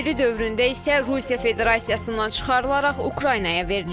SSRİ dövründə isə Rusiya Federasiyasından çıxarılaraq Ukraynaya verilib.